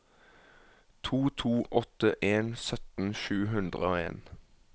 to to åtte en sytten sju hundre og en